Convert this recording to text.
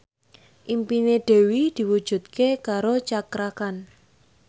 impine Dewi diwujudke karo Cakra Khan